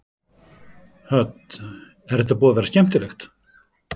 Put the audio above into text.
Hödd: Er þetta búið að vera skemmtilegt?